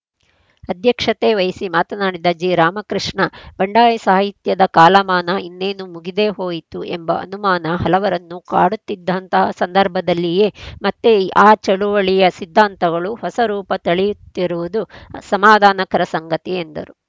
ಅಧ್ಯಕ್ಷತೆ ವಹಿಸಿ ಮಾತನಾಡಿದ ಜಿರಾಮಕೃಷ್ಣ ಬಂಡಾಯ ಸಾಹಿತ್ಯದ ಕಾಲಮಾನ ಇನ್ನೇನು ಮುಗಿದೇ ಹೋಯಿತು ಎಂಬ ಅನುಮಾನ ಹಲವರನ್ನು ಕಾಡುತ್ತಿದ್ದಂತಹ ಸಂದರ್ಭದಲ್ಲಿಯೇ ಮತ್ತೆ ಆ ಚಳವಳಿಯ ಸಿದ್ಧಾಂತಗಳು ಹೊಸರೂಪ ತಳೆಯುತ್ತಿರುವುದು ಸಮಾಧಾನಕರ ಸಂಗತಿ ಎಂದರು